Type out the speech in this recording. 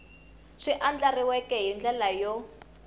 swi andlariweke hi ndlela yo